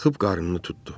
Qalxıb qarnını tutdu.